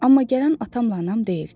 Amma gələn atamla anam deyildi.